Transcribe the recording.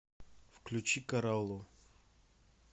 включи караллу